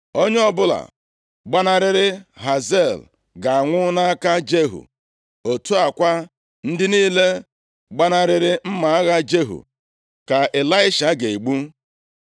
Onye ọbụla gbanarịrị Hazael ga-anwụ nʼaka Jehu. Otu a kwa, ndị niile gbanarịrị mma agha Jehu ka Ịlaisha ga-egbu.